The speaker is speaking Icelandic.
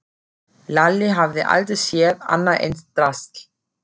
Lalli hafði aldrei séð annað eins drasl.